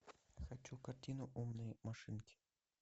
хочу картину умные машинки